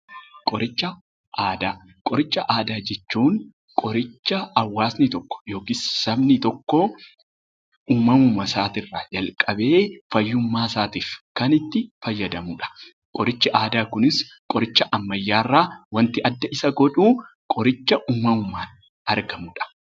Qoricha aadaa jechuun qoricha hawaasni tokko yookiis sabni tokko uumamuuma isaatii irraa jalqabee fayyummaa isaatiif kan itti fayyadamudha. Qorichi aadaa kunis qoricha ammayyaa irraa waanti adda isa godhu qoricha uumamumaan argamudha.